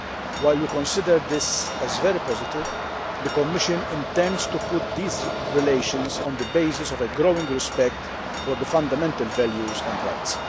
While considering this very positive, the Commission intends to put these relations on the basis of a growing respect for fundamental values and rights.